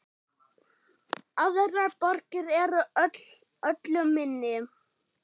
Aðrar borgir eru öllu minni.